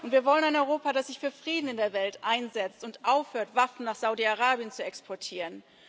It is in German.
Wir wollen ein Europa, das sich für Frieden in der Welt einsetzt und aufhört, Waffen nach Saudi Arabien zu exportieren.